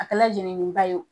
A kɛla jenini ba wo